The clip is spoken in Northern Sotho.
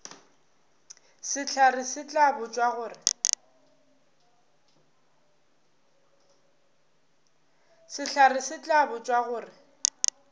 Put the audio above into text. sehlare se tla botšwa gore